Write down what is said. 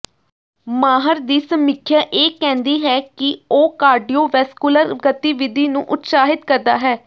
ਮਾਹਰ ਦੀ ਸਮੀਖਿਆ ਇਹ ਕਹਿੰਦੀ ਹੈ ਕਿ ਉਹ ਕਾਰਡੀਓਵੈਸਕੁਲਰ ਗਤੀਵਿਧੀ ਨੂੰ ਉਤਸ਼ਾਹਿਤ ਕਰਦਾ ਹੈ